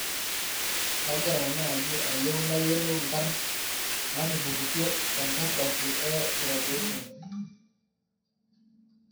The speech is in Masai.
kagira naaji ayieu nayolou nkaarn naatupukutuo te nkartasi e graduation